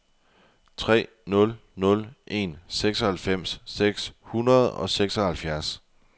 tre nul nul en seksoghalvfems seks hundrede og seksoghalvfjerds